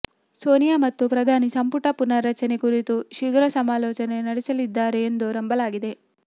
ಸೋನಿಯಾ ಮತ್ತು ಪ್ರಧಾನಿ ಸಂಪುಟ ಪುನರ್ರಚನೆ ಕುರಿತು ಶೀಘ್ರ ಸಮಾಲೋಚನೆ ನಡೆಸಲಿದ್ದಾರೆ ಎಂದೂ ನಂಬಲಾಗಿದೆ